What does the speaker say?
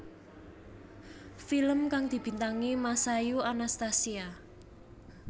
Film kang dibintangi Masayu Anastasia